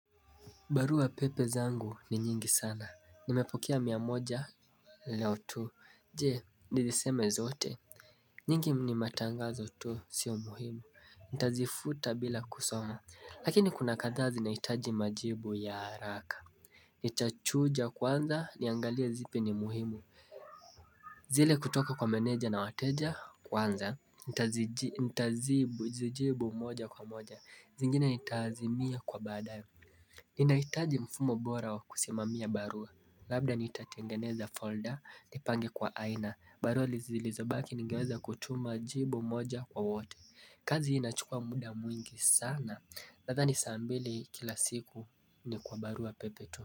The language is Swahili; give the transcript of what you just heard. Barua pepe zangu ni nyingi sana. Nimepokea mia moja leo tu. Je, niziseme zote. Nyingi ni matangazo tu sio muhimu. Ntazifuta bila kusoma. Lakini kuna kathaa zinaitaji majibu ya haraka. Itachuja kwanza niangalie zipi ni muhimu. Zile kutoka kwa meneja na wateja kwanza. Ntazijibu moja kwa moja. Zingine nitaazimia kwa baadaye. Ninaitaji mfumo bora wa kusimamia barua Labda nitatengeneza folder, nipange kwa aina barua lizi zilizobaki nigeweza kutuma jibu moja kwa wote kazi inachukua muda mwingi sana Nathani saa mbili kila siku ni kwa barua pepe tu.